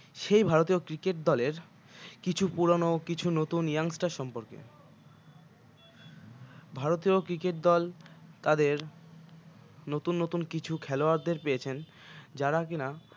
সেই ভারতীয় cricket দলের কিছু পুরানো কিছু নতুন young star সম্পর্কে ভারতীয় cricket দল তাদের নতুন নতুন কিছু খেলোয়াড়দের পেয়েছেন যারা কিনা